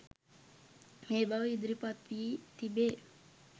මේ බව ඉදිරිපත්වී තිබේ